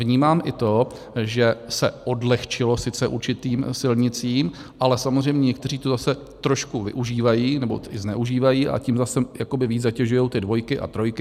Vnímám i to, že se odlehčilo sice určitým silnicím, ale samozřejmě někteří to zase trošku využívají nebo i zneužívají, a tím zase jakoby víc zatěžují ty dvojky a trojky.